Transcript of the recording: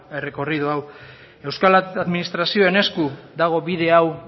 errekorri hau euskal administrazioen esku dago bide hau